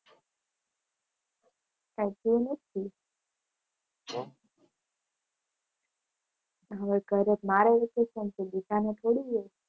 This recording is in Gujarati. કંઈ થયું નથી. હવે ઘરે મારે વેકેશન પડી છે